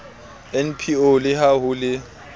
npo le ha ho le